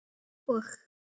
Og kemur hann aftur?